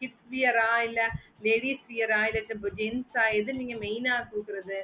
kids wear ஆஹ் இல்ல ladies wear ஆஹ் இல்ல gents ஆஹ் எது நீங்க main ஆஹ் போடுறது